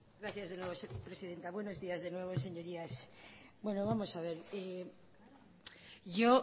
gracias de nuevo presidenta buenos días de nuevo señorías bueno vamos a ver yo